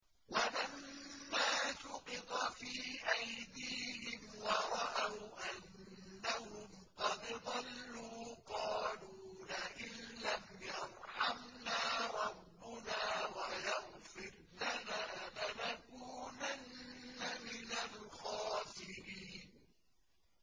وَلَمَّا سُقِطَ فِي أَيْدِيهِمْ وَرَأَوْا أَنَّهُمْ قَدْ ضَلُّوا قَالُوا لَئِن لَّمْ يَرْحَمْنَا رَبُّنَا وَيَغْفِرْ لَنَا لَنَكُونَنَّ مِنَ الْخَاسِرِينَ